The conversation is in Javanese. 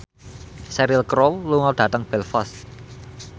Cheryl Crow lunga dhateng Belfast